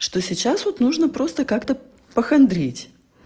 что сейчас вот нужно просто как-то по хандрить